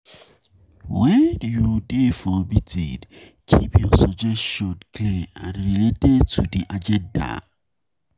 When you dey for meeting, keep your suggestions clear and related to di agenda